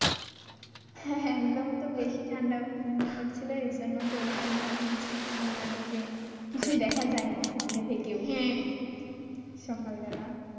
হ্যাঁ হ্যাঁ একদম তো বেশি ঠান্ডা পড়ছিলো এইজন্য তো ওরকম মনে হচ্ছে মানে যে কিছুই দেখা যায়না সামনে থেকেও সকালবেলা।